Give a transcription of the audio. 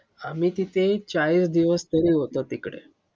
आम्ही तिथे चाळीस दिवस तरी होतो तिकडे.